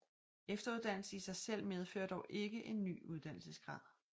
Efteruddannelse i sig selv medfører dog ikke en ny uddannelsesgrad